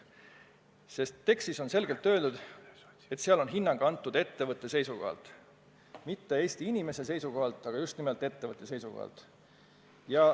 Tekstis endas on ehk selgelt öeldud, et see hinnang on antud ettevõtte seisukohalt – mitte Eesti inimeste seisukohalt, vaid just nimelt ettevõtte seisukohalt.